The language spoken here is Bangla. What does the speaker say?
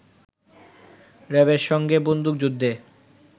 র‌্যাবের সঙ্গে বন্দুকযুদ্ধে